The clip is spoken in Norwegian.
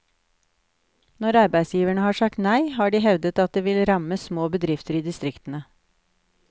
Når arbeidsgiverne har sagt nei, har de hevdet at det vil ramme små bedrifter i distriktene.